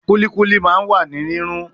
Kulikuli ma wa ni rirun